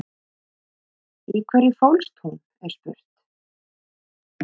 Í hverju fólst hún er spurt?